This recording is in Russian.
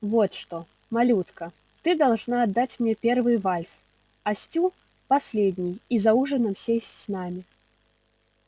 вот что малютка ты должна отдать мне первый вальс а стю последний и за ужином сесть с нами